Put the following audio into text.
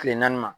Kile naani ma